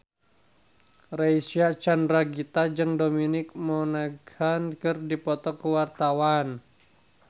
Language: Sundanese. Reysa Chandragitta jeung Dominic Monaghan keur dipoto ku wartawan